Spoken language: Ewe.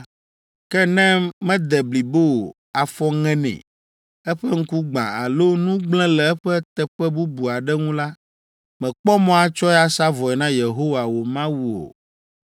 Ke ne mede blibo o, afɔ ŋe nɛ, eƒe ŋku gbã alo nu gblẽ le eƒe teƒe bubu aɖe ŋu la, mèkpɔ mɔ atsɔe asa vɔe na Yehowa wò Mawu o,